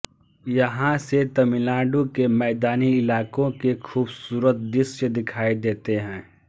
यहां से तमिलनाडु के मैदानी इलाकों के खूबसूरत दृश्य दिखाई देते हैं